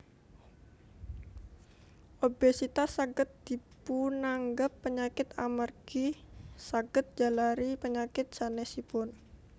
Obesitas saged dipunanggep panyakit amargi saged njalari panyakit sanèsipun